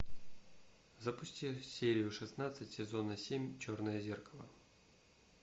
запусти серию шестнадцать сезона семь черное зеркало